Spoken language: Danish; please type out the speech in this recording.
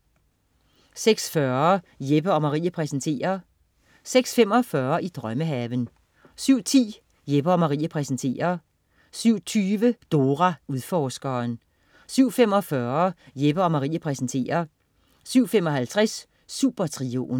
06.40 Jeppe & Marie præsenterer 06.45 I drømmehaven 07.10 Jeppe & Marie præsenterer 07.20 Dora Udforskeren 07.45 Jeppe & Marie præsenterer 07.55 Supertrioen